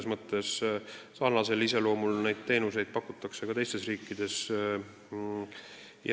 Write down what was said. Samasuguse iseloomuga teenuseid pakutakse ka teistes riikides.